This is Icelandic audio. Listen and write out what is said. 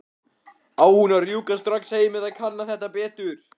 Á hún að rjúka strax heim eða kanna þetta betur?